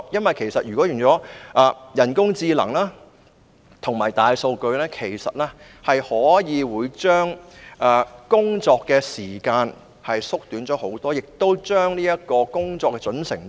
利用人工智能及大數據不但可以大大縮短工作時間，亦可以大大提高工作的準繩度。